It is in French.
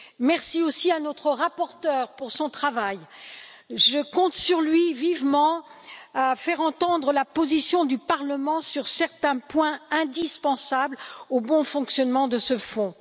Merci aussi à notre rapporteur pour son travail, je compte vivement sur lui pour faire entendre la position du Parlement sur certains points indispensables au bon fonctionnement de ce fonds.